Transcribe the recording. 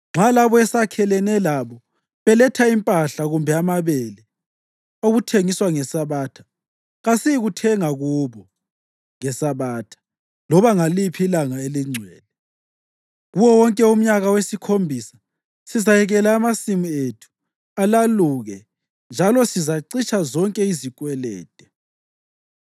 Nxa labo esakhelene labo beletha impahla kumbe amabele okuthengiswa ngeSabatha, kasiyikuthenga kubo ngeSabatha loba ngaliphi ilanga elingcwele. Kuwo wonke umnyaka wesikhombisa sizayekela amasimu ethu alaluke njalo sizacitsha zonke izikwelede.